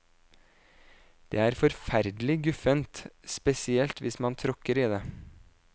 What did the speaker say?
Det er forferdelig guffent, spesielt hvis man tråkker i det.